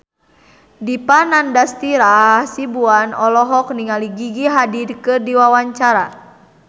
Dipa Nandastyra Hasibuan olohok ningali Gigi Hadid keur diwawancara